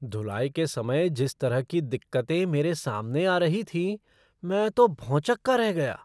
धुलाई के समय जिस तरह की दिक्कतें मेरे सामने आ रही थीं, मैं तो भौंचक्का रह गया।